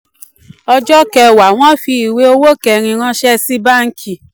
ọjọ́ kẹwàá: wọ́n fi ìwé owó kẹ́rin ranṣẹ́ sí báńkì